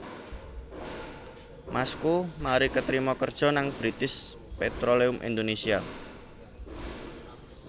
Masku mari ketrima kerjo nang British Petroleum Indonesia